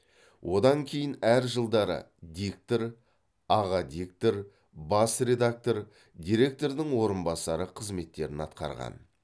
одан кейін әр жылдары диктор аға редактор бас редактор директордың орынбасары қызметтерін атқарған